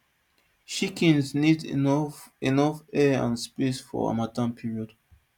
chickens need enough enough air and space for hamattan period